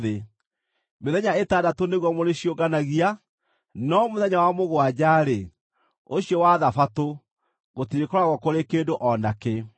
Mĩthenya ĩtandatũ nĩguo mũrĩciũnganagia, no mũthenya wa mũgwanja-rĩ, ũcio wa Thabatũ, gũtirĩkoragwo kũrĩ kĩndũ o na kĩ.”